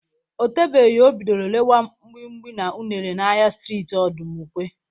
O tebeghi o bidoro rewa mgbimgbi na unere n'ahịa streeti Ọdụmụkwe.